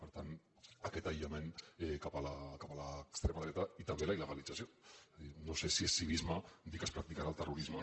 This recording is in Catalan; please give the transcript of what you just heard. per tant aquest aïllament cap a l’extrema dreta i també la il·a dir no sé si és civisme dir que es practicarà el terrorisme